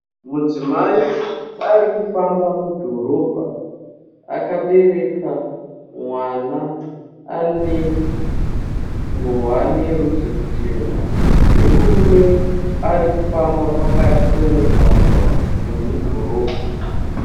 Mudzimai arikufamba mudhorobha akabereka mwana ane ngowani yerudzi ruchena, nemurume arikufamba pakati pomugwaga wemudhorobha.